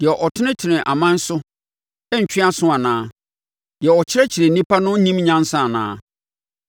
Deɛ ɔtenetene aman so no rentwe aso anaa? Deɛ ɔkyerɛkyerɛ onipa no nnim nyansa anaa?